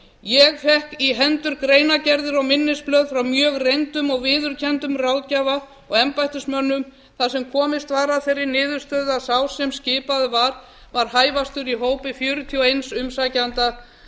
ég fékk í hendur greinargerðir og minnisblöð frá mjög reyndum og viðurkenndum ráðgjafa og embættismönnum þar sem komist var að þeirri niðurstöðu að sá sem skipaður var var hæfastur í hópi fjörutíu og einn umsækjanda